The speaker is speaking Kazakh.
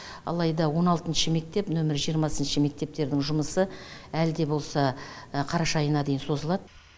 алайда он алтыншы мектеп нөмірі жиырмасыншы мектептердің жұмысы әлі де болса қараша айына дейін созылады